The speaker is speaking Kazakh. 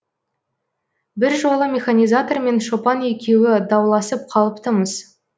бір жолы механизатор мен шопан екеуі дауласып қалыпты мыс